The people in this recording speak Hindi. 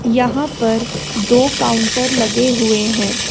यहां पर दो काउंटर लगे हुए हैं।